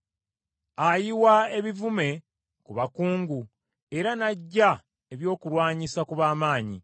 Ayiwa ekivume ku bakungu, era n’aggya ebyokulwanyisa ku b’amaanyi.